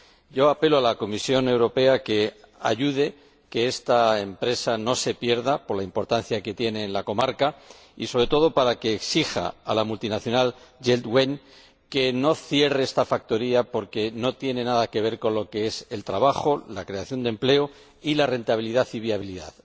Yo apelo a la Comisión Europea para que ayude a que esta empresa no se pierda, por la importancia que tiene en la comarca, y, sobre todo, para que exija a la multinacional Jeld Wen que no cierre esta factoría, porque no tiene nada que ver con lo que es el trabajo, la creación de empleo, y la rentabilidad y viabilidad.